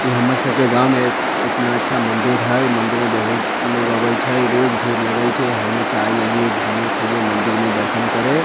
इ हमर सबके गांव में इ इतना अच्छा मंदिर है मंदिर में बहुत लोग आवे छै रोज भीड़ लगे छै हम्हू सब आय एलिए घूमे फिरे मंदिर में दर्शन करे।